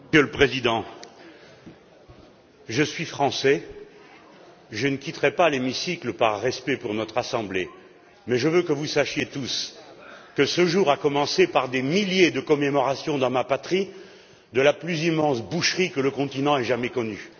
Monsieur le Président, je suis Français. Je ne quitterai pas l'hémicycle par respect pour notre assemblée, mais je veux que vous sachiez tous que ce jour a commencé par des milliers de commémorations, dans ma patrie, de la plus immense boucherie que le continent ait jamais connue.